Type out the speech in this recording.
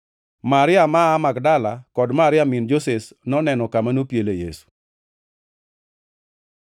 Maria ma aa Magdala kod Maria min Joses noneno kama nopiele Yesu.